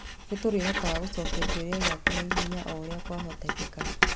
Nĩ tũrĩhotaga gũcokia kĩũria gĩaku na ihenya o ũrĩa kwahoteka.